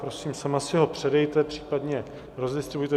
Prosím, sama si ho předejte, případně rozdistribujte.